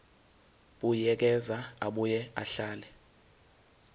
buyekeza abuye ahlele